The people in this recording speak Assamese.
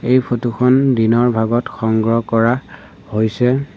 এই ফটো খন দিনৰ ভাগত সংগ্ৰহ কৰা হৈছে।